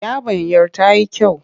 Yabanyar ta yi kyau.